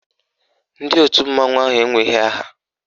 Ndị òtù mmanwụ ahụ enweghị aha.